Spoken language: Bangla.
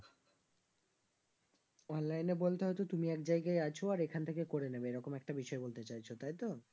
online এ বলতে হচ্ছে তুমি এক জায়গায় আছো আর এখান থেকে করে নেবে এরকম একটা বিষয় বলতে চাইছো তাই তো?